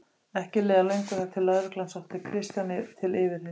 Ekki leið á löngu þar til lögreglan sótti Kristján til yfirheyrslu.